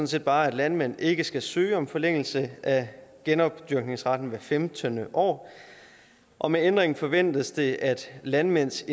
set bare at landmænd ikke skal søge om forlængelse af genopdyrkningsretten hver femtende år og med ændringen forventes det at landmænds